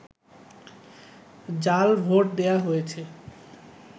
জাল ভোট দেয়া হয়েছে